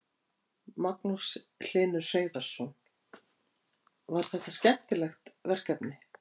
Magnús Hlynur Hreiðarsson: Var þetta skemmtilegt verkefni?